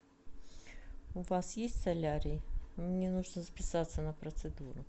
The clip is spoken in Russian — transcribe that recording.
у вас есть солярий мне нужно записаться на процедуру